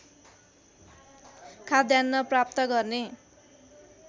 खाद्यान्न प्राप्त गर्ने